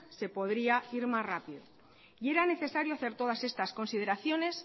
se podría ir más rápido y era necesario hacer todas estas consideraciones